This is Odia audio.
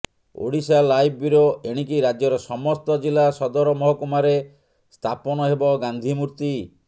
ଓଡ଼ିଶାଲାଇଭ ବ୍ୟୁରୋ ଏଣିକି ରାଜ୍ୟର ସମସ୍ତ ଜିଲ୍ଲା ସଦର ମହକୁମାରେ ସ୍ଥାପନ ହେବ ଗାନ୍ଧୀ ମୂର୍ତ୍ତି